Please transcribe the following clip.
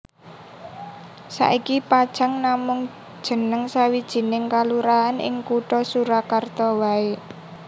Saiki Pajang namung jenengé sawijining kalurahan ing kutha Surakarta waé